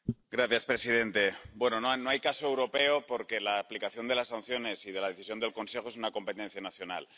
Señor presidente, no hay caso europeo, porque la aplicación de las sanciones y de la decisión del Consejo es una competencia nacional.